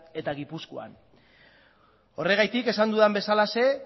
eta gipuzkoan horregatik esan dudan bezalaxe